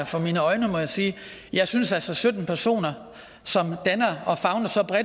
for mine øjne må jeg sige jeg synes altså at sytten personer